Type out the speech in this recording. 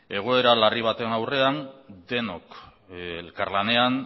egoera larri baten aurrean denok elkarlanean